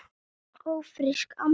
Ófrísk, amma!